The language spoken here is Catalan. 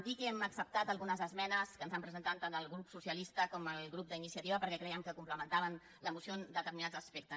dir que hem acceptat algunes esmenes que ens han presentat tant el grup socialista com el grup d’iniciativa perquè crèiem que complementaven la moció en determinats aspectes